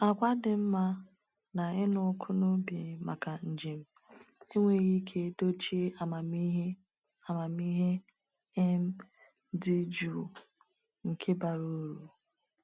Àgwà dị mma na ịnụ ọkụ n’obi maka njem enweghị ike dochie amamihe amamihe um dị jụụ, nke bara uru.